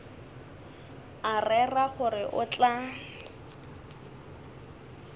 a rera gore o tla